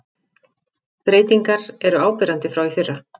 Breytingar eru áberandi frá í fyrra